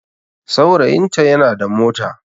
Saurayinta yana da mota